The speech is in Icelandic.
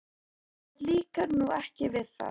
Þér líkar nú ekki við það?